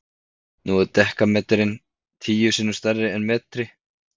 nú er dekametri tíu sinnum stærri en metri